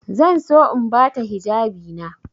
Zan so in ba ta hijabina.